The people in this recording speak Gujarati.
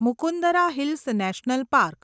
Mukundra hills national park